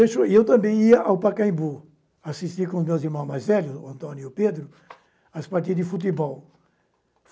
E eu também ia ao Pacaembu, assistia com os meus irmãos mais velhos, o Antônio e o Pedro, as partidas de futebol.